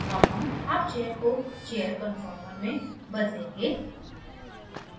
अब हम half chair को chair conformer में बदलेंगे